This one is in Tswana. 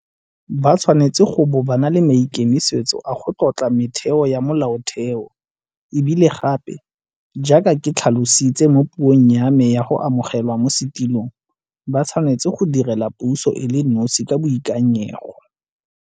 Ba tshwanetse go bo ba na le maikemisetso a go tlotla metheo ya Molaotheo, e bile gape, jaaka ke tlhalositse mo puong ya me ya go amogelwa mo setulong, ba tshwanetse go direla puso e le nosi ka boikanyego.